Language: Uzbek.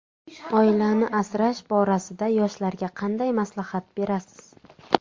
Oilani asrash borasida yoshlarga qanday maslahat berasiz?